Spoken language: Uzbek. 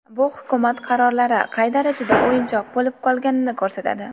Bu Hukumat qarorlari qay darajada o‘yinchoq bo‘lib qolganini ko‘rsatadi.